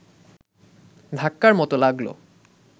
ধাক্কার মতো লাগল